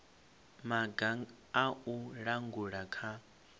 maga a u langula kha